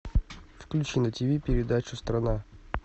включи на тиви передачу страна